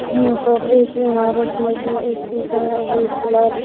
यहाँ पर एक इमारत है जो इसके काम अभी फिलहाल --